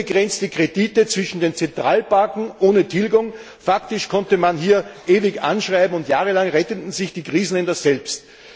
Unbegrenzte Kredite zwischen den Zentralbanken ohne Tilgung faktisch konnte man hier ewig anschreiben und jahrelang retteten sich die Krisenländer selbst.